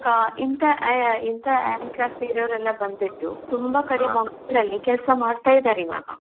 ಹಾ ಇಂತಾ ಆಹ್ ಇಂತ handicap ಇರೋರೆಲ್ಲ ಬಂದ್ಬಿಟ್ಟು, ತುಂಬಾ ಕಡೆ ಮಂಗ್ಳೂರಲ್ಲಿ ಕೆಲ್ಸ ಮಾಡ್ತಾ ಇದ್ದಾರೆ ಈವಾಗ.